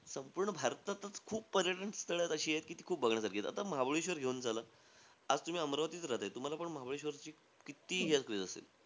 संपूर्ण भारतातचं खूप पर्यटन स्थळ अशी आहेत, जी खूप बघण्यासारखी आहे. आता महाबळेश्वर घेऊन चला, आज तुम्ही अमरावतीत राहताय. तुम्हालापण महाबळेश्वर कित्ती असेल.